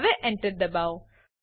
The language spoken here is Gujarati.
હવે Enter દબાઓ